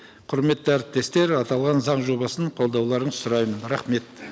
құрметті әріптестер аталған заң жобасын қолдауларыңызды сұраймын рахмет